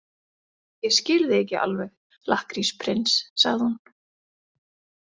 Ég skil þig ekki alveg, lakkrísprins, sagði hún.